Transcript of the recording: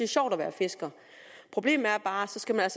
sjovt at være fisker problemet er bare at så skal man